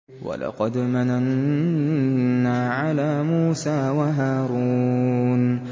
وَلَقَدْ مَنَنَّا عَلَىٰ مُوسَىٰ وَهَارُونَ